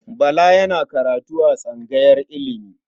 Bala yana karatu a tsangayar ilimi.